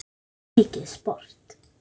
Þetta var mikið sport.